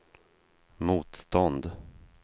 motstånd